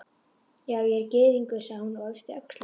Já, ég er gyðingur, sagði hún og yppti öxlum.